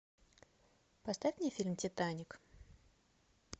поставь мне фильм титаник